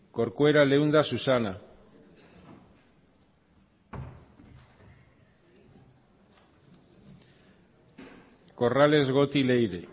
corcuera leunda susana corrales goti leire